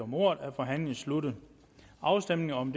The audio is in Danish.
om ordet er forhandlingen sluttet afstemningen om